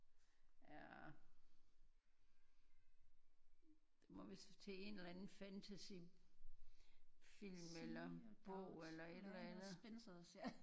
Er det må vist til en eller anden fantasy film eller bog eller et eller andet ja